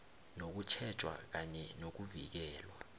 nokutjhejwa kanye nokuvikelwa